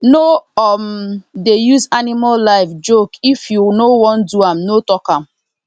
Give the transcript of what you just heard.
no um dey use animal life jokeif you no wan do am no talk am